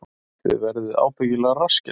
Þið verðið ábyggilega rassskelltir